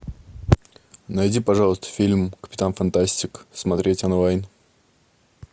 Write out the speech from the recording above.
найди пожалуйста фильм капитан фантастик смотреть онлайн